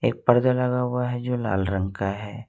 एक पर्दा लगा हुआ है जो लाल रंग का है।